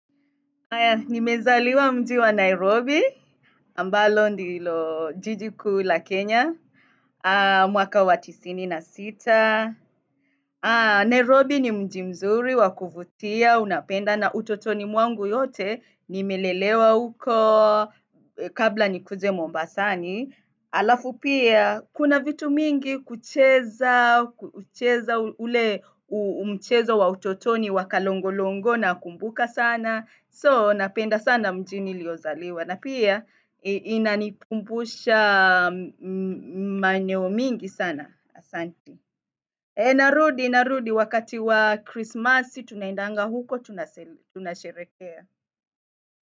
Nimezaliwa mji wa Nairobi. Ambalo ndilo jiji kuu la Kenya. Mwaka watisini na sita. Nairobi ni mji mzuri wakuvutia unapenda na utotoni mwangu yote nimelelewa huko kabla nikuje Mombasani. Alafu pia, kuna vitu mingi kucheza kucheza ule umchezo wa utotoni wakalongo-longo na kumbuka sana. So, napenda sana mji niliozaliwa. Na pia, inanikumbusha maeneo mingi sana. Narudi, narudi, wakati wa Christmas, tunaendanga huko, tunasherekea.